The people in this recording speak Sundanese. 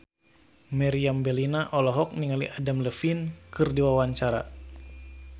Meriam Bellina olohok ningali Adam Levine keur diwawancara